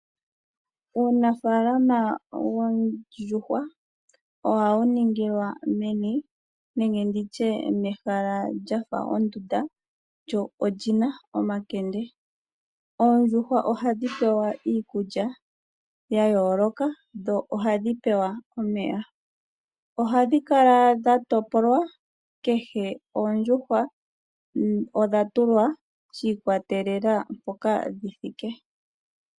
Uunafalama woondjuhwa ohawu ningilwa mehala lyafa ondunda lina omakende. Oondjuhwa ohadhi pewa iikulya ya yooloka nohadhi pewa omeya. Ohadhi kala dha topolwa shi ikwatelela kutya odhi thike peni.